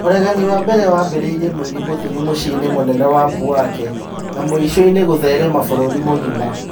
ũregani wa mbere wambĩrĩirie mweri mũthiru mũciĩ-inĩ mũnene wa Bouake na mũico-inĩ gũtherema bũrũri mũgima